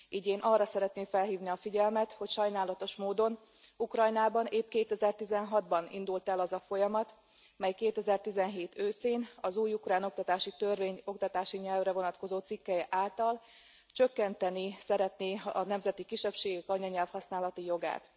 Így én arra szeretném felhívni a figyelmet, hogy sajnálatos módon Ukrajnában épp 2016 ban indult el az a folyamat, mely 2017 őszén az új ukrán oktatási törvény oktatási nyelvre vonatkozó cikkelye által csökkenteni szeretné a nemzeti kisebbségek anyanyelvhasználati jogát.